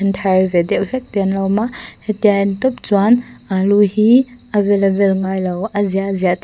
thar ve deuh hlek te an lo awm a hetia en tawp chuan alu hi a vel a vel ngailo a ziah a ziah theih--